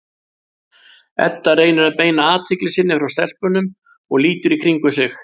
Edda reynir að beina athygli sinni frá stelpunum og lítur í kringum sig.